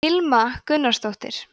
hilma gunnarsdóttir